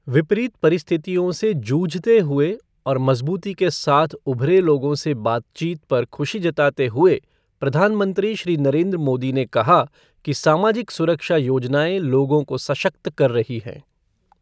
विपरीत परिस्थितियों से जूझते हुए और मजबूती के साथ ऊभरे लोगों से बातचीत पर खुशी जताते हुए प्रधानमंत्री श्री नरेन्द्र मोदी ने कहा कि सामाजिक सुरक्षा योजनाएं लोगों को सशक्त कर रही है।